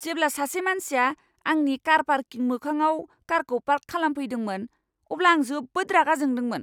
जेब्ला सासे मानसिया आंनि कार पार्किं मोखाङाव कारखौ पार्क खालामफैदोंमोन अब्ला आं जोबोद रागा जादोंमोन।